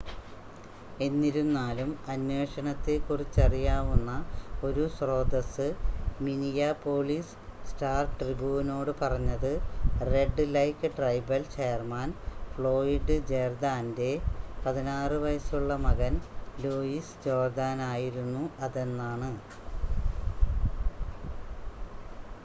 എന്നിരുന്നാലും അന്വേഷണത്തെ കുറിച്ചറിയാവുന്ന ഒരു സ്രോതസ്സ് മിനിയാപോളിസ് സ്റ്റാർ-ട്രിബൂനോട് പറഞ്ഞത് Red Lake tribal chairman Floyd ജേർദാൻ്റെ 16 വയസ് ഉള്ള മകൻ ലൂയിസ് ജോർദാൻ ആയിരുന്നു അതെന്നാണ്